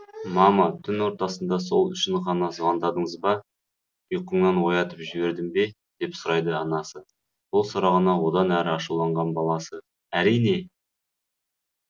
мама түн ортасында сол үшін ғана звондадыңыз ба ұйқыңнан оятып жібердім бе деп сұрайды анасы бұл сұрағына одан ары ашуланған баласы әрине